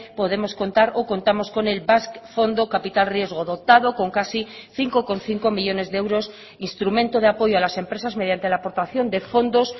podemos contar o contamos con el basque fondo capital riesgo dotado con casi cinco coma cinco millónes de euros instrumento de apoyo a las empresas mediante la aportación de fondos